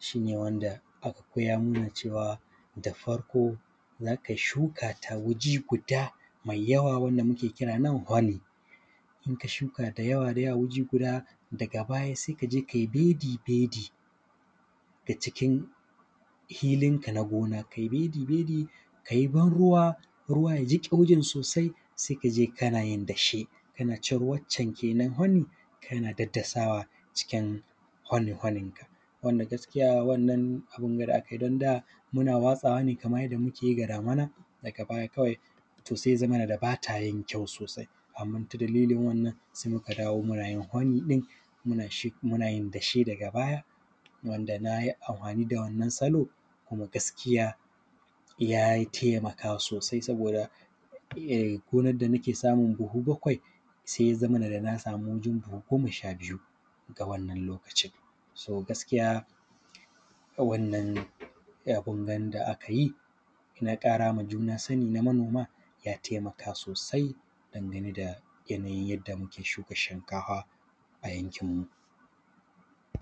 Shi ne wanda aka koya mana cewa, da farko za kai shuka ta wuji guda mai yawa wanda muke kira nan hwani. In ka shuka da yawa da yawa wuji guda, daga baya se ka je kai bedi-bedi ga cikin hilinka na gona, kai bedi-bedi kai banruwa, ruwa ya jiƙe wurin sosai. Sai ka je kana yin dashe, kana cire waccen kenan hwani, kana daddasawa cikin hwani-hwanin ga, wanda gaskiya wannan abin ga da akai don da, muna watsawa ne kamay yadda muke yi ga damina, daga baya kawai, to sai ya zamana da ba ta yin kyau sosai. Amma ta dalilin wannan, se muka dawo muna yin hwani ɗin, muna yin dashe daga baya, wanda na yi anhwani da wannan salo, kuma gaskiya yai temaka sosai saboda ei; gonad da nake samun buhu bakwai, se ya zamana da na samu wajen buhu goma sha biyu ga wannan lokacin. “So”, gaskiya, wannan, abin gan da aka yi, na ƙara ma juna sani na manoma, ya temaka sosai dangane da yanayin yadda muke shuka shinkahwa a yankinmu.